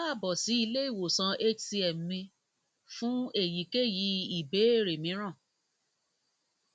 káàbọ sí ilé ìwòsàn hcm mi fún èyíkéyìí ìbéèrè mìíràn